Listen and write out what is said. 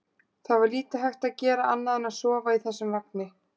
Það var lítið hægt að gera annað en að sofa í þessum vagni.